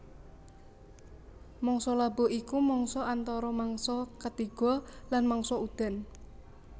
Mangsa labuh iku mangsa antara mangsa katiga lan mangsa udan